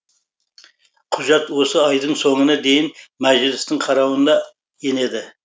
құжат осы айдың соңына дейін мәжілістің қарауына енеді